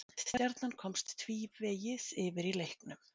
Stjarnan komst tvívegis yfir í leiknum